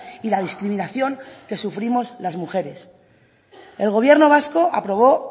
y la discriminación que sufrimos las mujeres el gobierno vasco aprobó